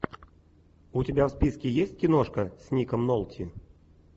у тебя в списке есть киношка с ником нолти